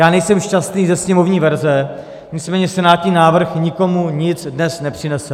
Já nejsem šťastný ze sněmovní verze, nicméně senátní návrh nikomu nic dnes nepřinese.